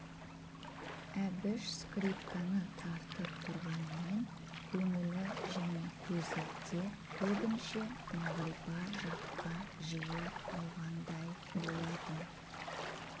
әбіш скрипканы тартып тұрғанмен көңілі және көзі де көбінше мағрипа жаққа жиі ауғандай болатын